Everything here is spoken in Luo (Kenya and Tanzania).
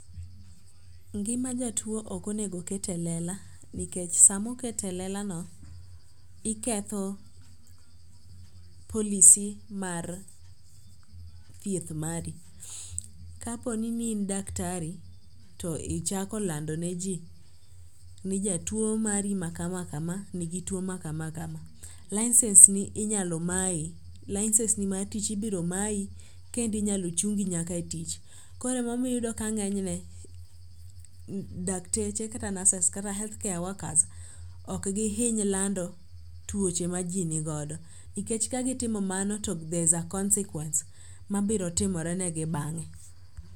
Ngima jatuo okonego ket e lela nikech samoket e lelano, iketho policy mar thieth mari. Kaponi ni in daktari to ichako landone ji ni jatuo mari ma kama kama nigi tuo ma kama kama, licence ni inyalo mayi licence ni ma tich ibiro mayi kendo inyalo chungi nyaka e tich koro emomiyo iyudo ka ng'enyne dakteche kata nurses kata healthcare workers okgihiny lando tuoche ma ji ni godo nikech ka gitimo mano to there is a consequence ma biro timorenegi bang'e.